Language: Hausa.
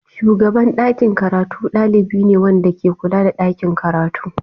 Shugaban ɗakin karatu ɗalibi ne wanda ke kula da ɗakin karatu.